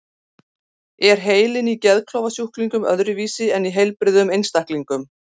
Er heilinn í geðklofasjúklingum öðruvísi en í heilbrigðum einstaklingum?